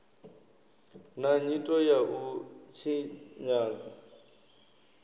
na nyito ya u tshinyadza